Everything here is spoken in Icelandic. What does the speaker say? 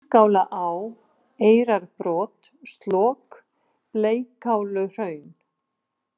Bískálaá, Eyrarbrot, Slok, Bleikáluhraun